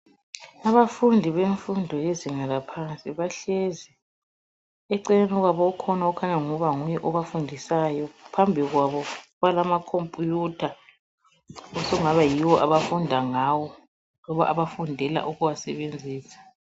Abafundi bemfundo yezinga laphansi bahlezi. Eceleni kwabo ukhona okhanya angani engaba nguye obafundisayo. Phambi kwabo balamakhompiyutha osokungaba yiwo abafunda ngawo loba abafundela ukuwasebenzisa.